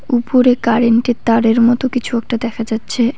উপরে কারেন্ট -এর তারের মতো কিছু একটা দেখা যাচ্ছে।